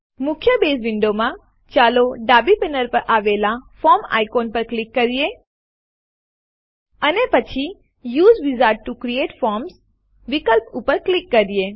મુખ્ય બેઝ વિન્ડોમાં ચાલો ડાબી પેનલ પર આવેલ ફોર્મ આઇકોન ઉપર ક્લિક કરીએ અને પછી U S E wizard T O create form વિકલ્પ ઉપર ક્લિક કરીએ